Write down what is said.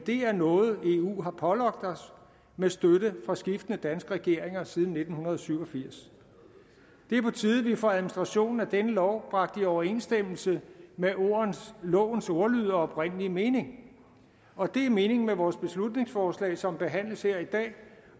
er noget eu har pålagt os med støtte fra skiftende danske regeringer siden nitten syv og firs det er på tide at vi får administrationen af denne lov bragt i overensstemmelse med lovens ordlyd og oprindelige mening og det er meningen med vores beslutningsforslag som behandles her i dag